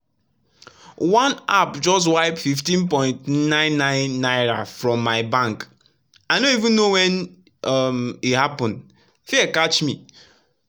one app just wipe 15.99 naira from my bank i no even know when um e happen — fear catch me.